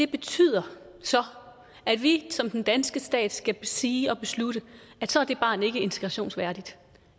betyder at vi som den danske stat skal sige og beslutte at så er det barn ikke integrationsværdigt